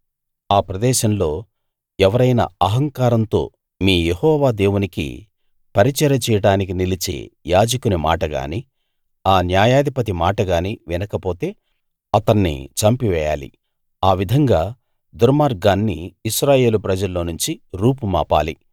ఆ ప్రదేశంలో ఎవరైనా అహంకారంతో మీ యెహోవా దేవునికి పరిచర్య చేయడానికి నిలిచే యాజకుని మాటగానీ ఆ న్యాయాధిపతి మాటగానీ వినకపోతే అతన్ని చంపివేయాలి ఆ విధంగా దుర్మార్గాన్ని ఇశ్రాయేలు ప్రజల్లో నుంచి రూపుమాపాలి